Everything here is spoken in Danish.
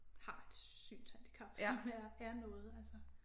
Har et synshandicap som er er noget altså